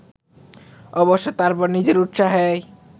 অবশ্য তারপর নিজের উৎসাহেই